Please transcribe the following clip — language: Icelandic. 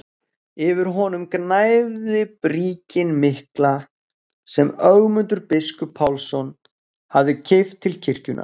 Yfir honum gnæfði bríkin mikla sem Ögmundur biskup Pálsson hafði keypt til kirkjunnar.